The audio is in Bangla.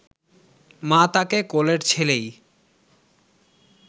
মা তাঁকে কোলের ছেলেই